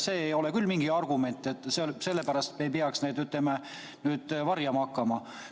See ei ole küll mingi argument, selle pärast me ei peaks neid, ütleme, varjama hakkama.